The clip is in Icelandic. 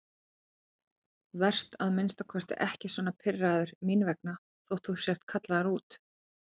Vertu að minnsta kosti ekki svona pirraður mín vegna þótt þú sért kallaður út.